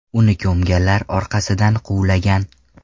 Uni ko‘mganlar orqasidan quvlagan.